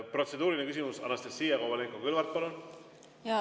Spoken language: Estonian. Protseduuriline küsimus, Anastassia Kovalenko-Kõlvart, palun!